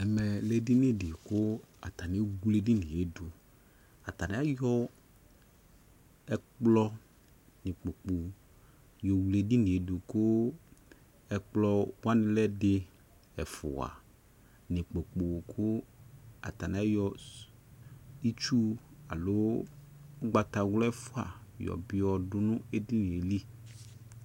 ɛmɛ lɛ edini dɩ kʊ atanɩ ewle edini yɛ dʊ, atanɩ ayɔ ɛkplɔ nʊ ikpoku, yɔ wle edini yɛ dʊ, kʊ ɛkplɔwanɩ lɛ ɛdɩ, ɛfua nʊ ikpoku kʊ atanɩ ayɔ itsu nɩ ugbatawla ɛfua yɔ dʊ nʊ edini yɛ